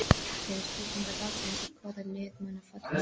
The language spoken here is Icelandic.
Fyrri spurning dagsins er: Hvaða lið munu falla?